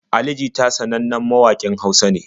Ali jita sanannen mawaƙin Hausa ne.